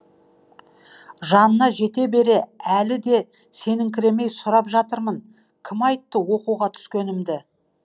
жанына жете бере әлі де сеніңкіремей сұрап жатырмын кім айтты оқуға түскенімді